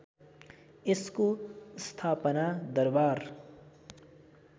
यसको स्थापना दरबार